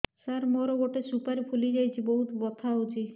ସାର ମୋର ଗୋଟେ ସୁପାରୀ ଫୁଲିଯାଇଛି ବହୁତ ବଥା ହଉଛି